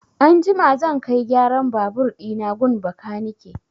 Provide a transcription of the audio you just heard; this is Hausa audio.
Anjima zan kai gyaran babur ɗina gun bakanike.